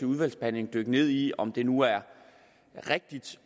udvalgsbehandlingen dykke ned i om det nu er rigtigt